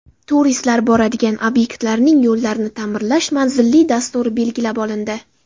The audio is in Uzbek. Turistlar boradigan obyektlarning yo‘llarini ta’mirlash manzilli dasturi belgilab olindi.